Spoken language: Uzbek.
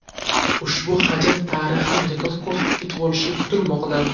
Ushbu hajm tarixan rekord ko‘rsatkich bo‘lishi kutilmoqda.